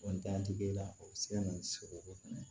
la o bɛ se ka na ni sogo fɛnɛ